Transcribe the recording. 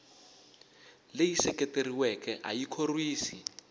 leyi seketeriweke a yi khorwisi